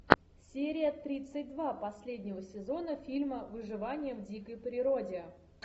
серия тридцать два последнего сезона фильма выживание в дикой природе